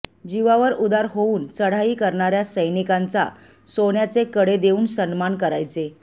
जीवावर उदार होवुन चढाई करणाऱ्या सैनिकांचा सोन्याचे कडे देऊन सन्मान करायचे